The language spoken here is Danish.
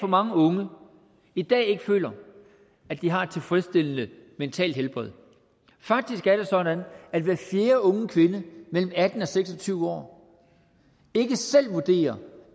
mange unge i dag ikke føler at de har et tilfredsstillende mentalt helbred faktisk er det sådan at hver fjerde unge kvinde mellem atten og seks og tyve år ikke selv vurderer